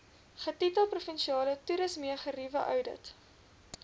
getitel provinsiale toerismegerieweoudit